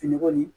Fini kɔni